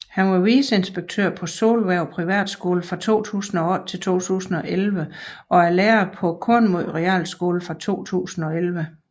Han var viceinspektør på Solhverv Privatskole fra 2008 til 2011 og er lærer på Kornmod Realskole fra 2011